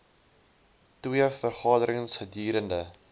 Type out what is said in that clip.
twee vergaderings gedurende